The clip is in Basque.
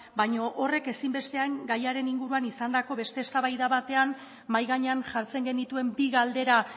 baina horrek ezinbestean gaiaren inguruan izandako beste eztabaida batean mahai gainean jartzen genituen bi galdera